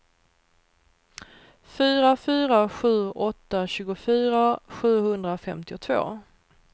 fyra fyra sju åtta tjugofyra sjuhundrafemtiotvå